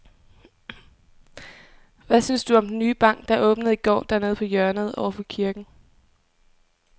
Hvad synes du om den nye bank, der åbnede i går dernede på hjørnet over for kirken?